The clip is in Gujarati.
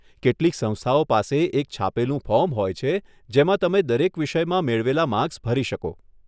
કેટલીક સંસ્થાઓ પાસે એક છાપેલું ફોર્મ હોય છે જેમાં તમે દરેક વિષયમાં મેળવેલાં માર્ક્સ ભરી શકો.